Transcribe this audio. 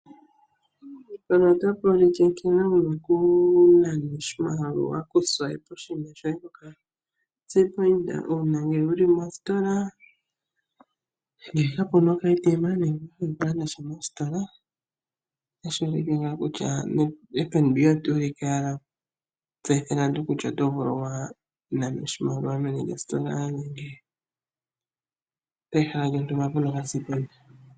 Oto vulu wala oku nana oshimaliwa shoye to siwape owala oka kalata kohe kombanga kokashina ko Fnb una wuli mositola nenge peshala lontumba mpoka pena oka sipide point.